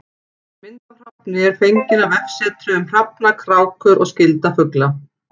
Mynd af hrafni er fengin af vefsetri um hrafna, krákur og skyldra fugla.